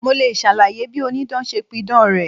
Mo le ṣàlàyé bí Onídán ṣe pidàn rẹ̀.